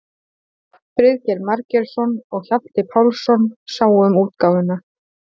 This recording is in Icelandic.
Friðrik Margeirsson og Hjalti Pálsson sáu um útgáfuna.